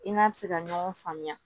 I n'a bi se ka ɲɔgɔn faamuya